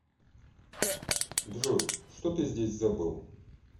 джой что ты здесь забыл